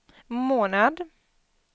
månad